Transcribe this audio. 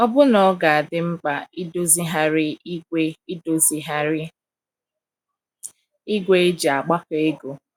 Ọbụna ọ ga - adị mkpa idozigharị ígwè idozigharị ígwè e ji agbakọ ego.